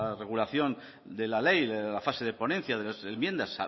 regulación de la ley de la fase de ponencia de las enmiendas